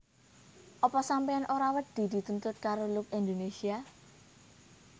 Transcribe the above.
Opo sampeyan ora wedi dituntut karo Look Indonesia?